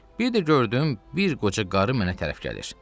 Bir də gördüm bir qoca qarı mənə tərəf gəlir.